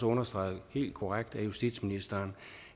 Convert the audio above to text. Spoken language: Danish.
understreget helt korrekt af justitsministeren